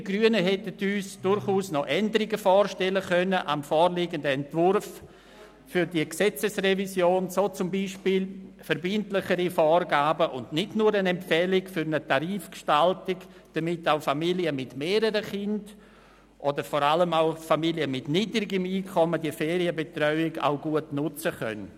Wir hätten uns seitens der Grünen durchaus noch Änderungen am vorliegenden Entwurf dieser Gesetzesrevision vorstellen können, so zum Beispiel verbindlichere Vorgaben und nicht nur eine Empfehlung für eine Tarifgestaltung, damit Familien mit mehreren Kindern oder vor allem auch Familien mit niedrigen Einkommen die Ferienbetreuung gut nutzen können.